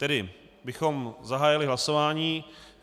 Tedy bychom zahájili hlasování.